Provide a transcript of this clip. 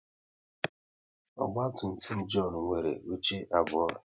Ogba tum tum John nwere oche abụọ